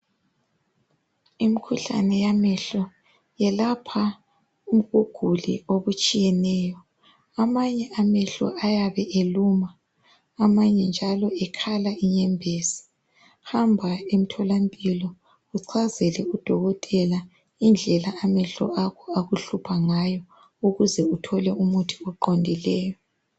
Imikhuhlane yamehlo yelapha ubuguli obutshiyeneyo amanye amehlo ayabe eluma amanye njalo ekhala inyembezi hamba emtholampilo uchazele udokotela indlela amehlo akho akuhlupha ngayo ukuze uthole umuthi oqondileyo.